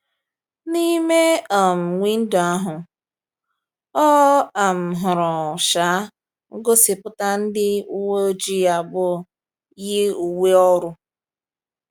N’ime um windo ahụ, ọ um hụrụ um ngosipụta ndị uwe ojii abụọ yi uwe ọrụ.